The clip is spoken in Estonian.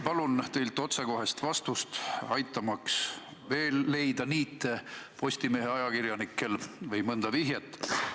Palun teilt otsekohest vastust, aitamaks Postimehe ajakirjanikel leida veel niite või mõnda vihjet.